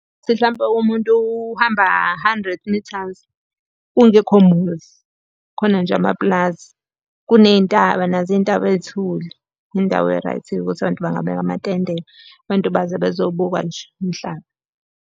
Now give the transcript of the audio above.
Ukuthi hlampe umuntu uhamba hundred mithazi, kungekho muzi, khona nje amapulazi. Kuney'ntaba nazo iy'ntaba ey'thule, indawo e-right-ke ukuthi abantu bangabeka amatende. Abantu baze bezobuka nje umhlaba.